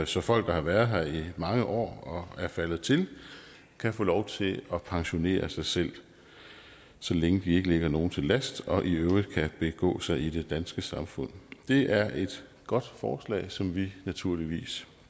så folk der har været her i mange år og er faldet til kan få lov til at pensionere sig selv så længe de ikke ligger nogen til last og i øvrigt kan begå sig i det danske samfund det er et godt forslag som vi naturligvis